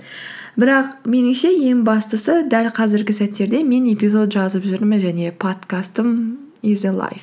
бірақ меніңше ең бастысы дәл қазіргі сәттерде мен эпизод жазып жүрмін және подкастым